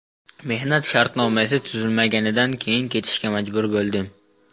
Mehnat shartnomasi tuzilmaganidan keyin ketishga majbur bo‘ldim.